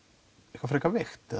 eitthvað frekar veikt